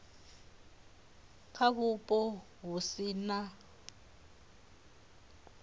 kha vhupo vhu si na